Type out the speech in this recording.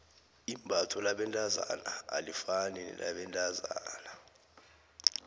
imbatho labentazana alifani nelabentazana